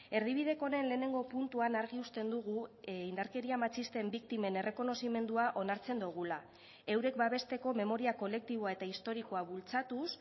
erdibideko honen lehenengo puntuan argi uzten dugu indarkeria matxisten biktimen errekonozimendua onartzen dugula eurek babesteko memoria kolektiboa eta historikoa bultzatuz